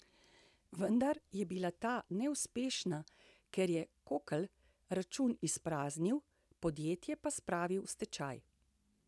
Vendar je bila ta neuspešna, ker je Kokl račun izpraznil, podjetje pa spravil v stečaj.